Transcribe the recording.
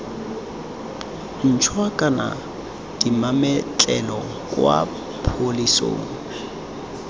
ntšhwa kana dimametlelelo kwa pholising